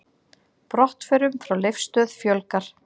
Brottförum frá Leifsstöð fjölgar